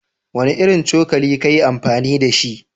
Wanne irin cokali ka yi amfani da shi?